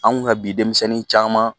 Anw ŋa bi denmisɛnnin caaman